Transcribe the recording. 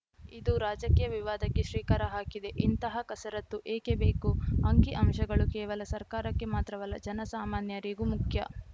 ಇದು ರಾಜಕೀಯ ವಿವಾದಕ್ಕೆ ಶ್ರೀಕಾರ ಹಾಕಿದೆ ಇಂತಹ ಕಸರತ್ತು ಏಕೆ ಬೇಕು ಅಂಕಿ ಅಂಶಗಳು ಕೇವಲ ಸರ್ಕಾರಕ್ಕೆ ಮಾತ್ರವಲ್ಲ ಜನಸಾಮಾನ್ಯರಿಗೂ ಮುಖ್ಯ